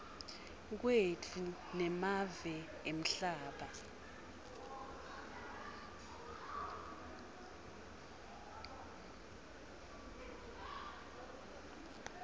kwetfu nemave emhlaba